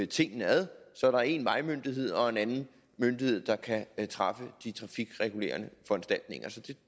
tingene ad så der er en vejmyndighed og en anden myndighed der kan træffe de trafikregulerende foranstaltninger